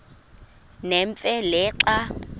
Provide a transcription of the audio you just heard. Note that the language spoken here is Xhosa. nemfe le xa